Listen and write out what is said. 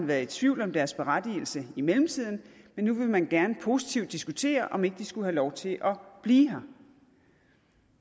været i tvivl om deres berettigelse i mellemtiden men nu vil man gerne positivt diskutere om de ikke skulle have lov til at blive her